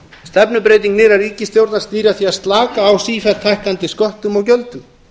stefnubreyting nýrrar ríkisstjórnar snýr að því að slaka á sífellt hækkandi sköttum og gjöldum